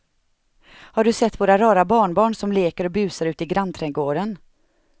Har du sett våra rara barnbarn som leker och busar ute i grannträdgården!